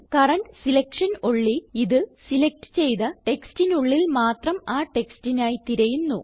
current selection only ഇത് select ചെയ്ത ടെക്സ്റ്റിനുള്ളിൽ മാത്രം ആ ടെക്സ്റ്റിനായി തിരയുന്നു